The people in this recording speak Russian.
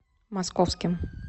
московским